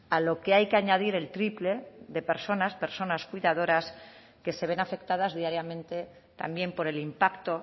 a lo que hay que añadir el triple de personas personas cuidadoras que se ven afectadas diariamente también por el impacto